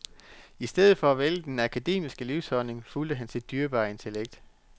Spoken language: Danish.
I stedet for at vælge den akademiske livsholdning, fulgte han sit dyrebare intellekt.